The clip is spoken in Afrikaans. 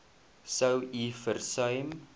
sou u versuim